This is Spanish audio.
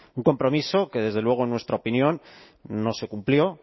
un compromiso que desde luego en nuestra opinión no se cumplió